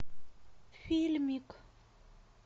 фильмик